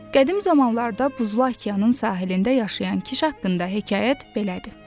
Qədim zamanlarda buzlu okeanın sahilində yaşayan Kiş haqqında hekayət belədir.